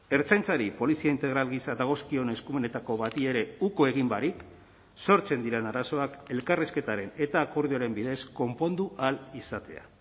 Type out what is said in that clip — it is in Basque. ertzaintzari polizia integral gisa dagozkion eskumenetako bati ere uko egin barik sortzen diren arazoak elkarrizketaren eta akordioaren bidez konpondu ahal izatea